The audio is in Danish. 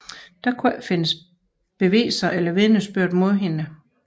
Der kunne ikke findes beviser eller vidnesbyrd mod hende